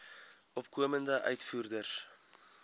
opkomende uitvoerders